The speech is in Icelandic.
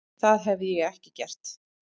Það hefði ég ekki gert.